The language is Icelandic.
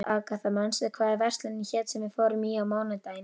Agatha, manstu hvað verslunin hét sem við fórum í á mánudaginn?